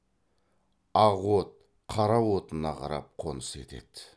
ақ от қара отына қарап қоныс етеді